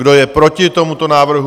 Kdo je proti tomuto návrhu?